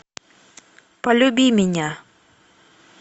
полюби меня